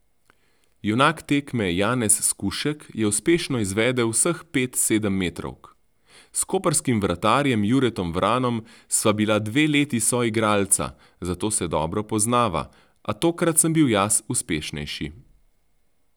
Junak tekme Janez Skušek je uspešno izvedel vseh pet sedemmetrovk: "S koprskim vratarjem Juretom Vranom sva bila dve leti soigralca, zato se dobro poznava, a tokrat sem bil jaz uspešnejši.